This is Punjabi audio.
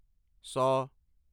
ਸੌ